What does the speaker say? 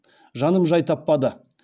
жаным жай таппады